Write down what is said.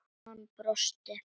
Hann brosti.